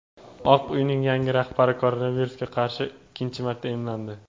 Oq uyning yangi rahbari koronavirusga qarshi ikkinchi marta emlandi.